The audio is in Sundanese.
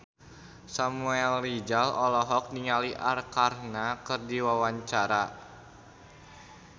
Samuel Rizal olohok ningali Arkarna keur diwawancara